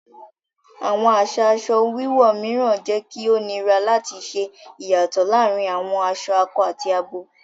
Awọn aṣa aṣọ wíwọ̀ míràn jẹ kí o nírà láti ṣè iyátọ̀ làárìn awọn aṣọ àkọ̀ àti àbọ̀